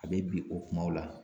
A be bin o kumaw la.